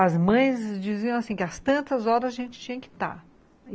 As mães diziam assim que às tantas horas a gente tinha que estar.